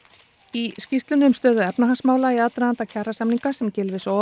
í skýrslunni um stöðu efnahagsmála í aðdraganda kjarasamninga sem Gylfi